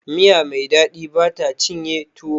Miya Mai daɗi bata cinye tuwo